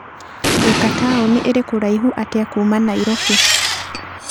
Thika taũni ĩrĩ kũraihu atĩa kuuma Nairobi?